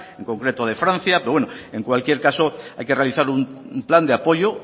en concreto de francia pero bueno en cualquier caso hay que realizar un plan de apoyo